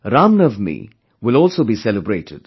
Ram Navami will also be celebrated